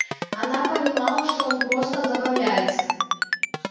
она понимала что он просто забавляется